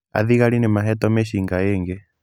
Athigari nĩ mahetwo mĩcinga ĩngĩ.